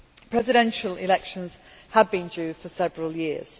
Presidential elections have been due for several years.